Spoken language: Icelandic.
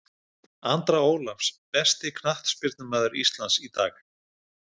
Andra ólafs Besti knattspyrnumaður Íslands í dag?